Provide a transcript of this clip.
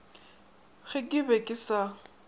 ge ke be ke sa